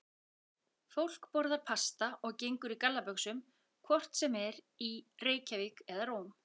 Fólk borðar pasta og gengur í gallabuxum hvort sem er í Reykjavík eða Róm.